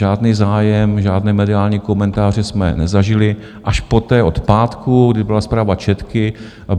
Žádný zájem, žádné mediální komentáře jsme nezažili, až poté od pátku, kdy byla zpráva Četky.